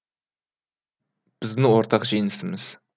біздің ортақ жеңісіміз